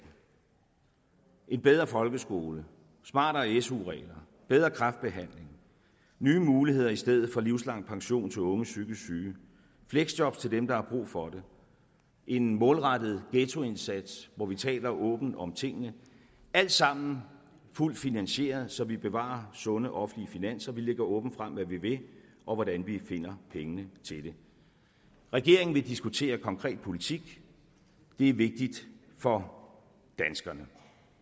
en bedre folkeskole smartere su regler bedre kræftbehandling nye muligheder i stedet for livslang pension til unge psykisk syge fleksjob til dem der har brug for det en målrettet ghettoindsats hvor vi taler åbent om tingene alt sammen fuldt finansieret så vi bevarer sunde offentlige finanser vi lægger åbent frem hvad vi vil og hvordan vi finder pengene til det regeringen vil diskutere konkret politik det er vigtigt for danskerne